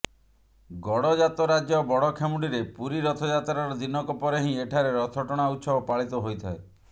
ଗଡଜାତ ରାଜ୍ୟ ବଡଖେମୁଣ୍ଡିରେ ପୁରୀ ରଥ ଯାତ୍ରାର ଦିନକ ପରେ ହିଁ ଏଠାରେ ରଥଟଣା ଉତ୍ସବ ପାଳିତ ହୋଇଥାଏ